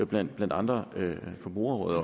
blandt andre forbrugerrådet